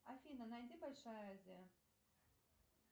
афина найди большая азия